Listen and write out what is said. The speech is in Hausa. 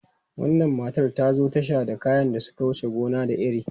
Wannan matar ta zo tasha da kayan da suka wuce gona da iri.